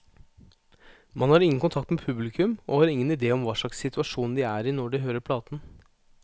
Man har ingen kontakt med publikum, og har ingen idé om hva slags situasjon de er i når de hører platen.